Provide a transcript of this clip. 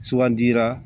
Sugandira